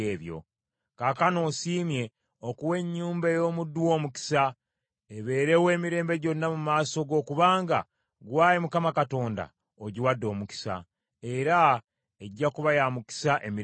Kaakano osiimye okuwa ennyumba ey’omuddu wo omukisa, ebeerewo emirembe gyonna mu maaso go kubanga, ggwe Ayi Mukama Katonda ogiwadde omukisa, era egya kuba ya mukisa emirembe gyonna.”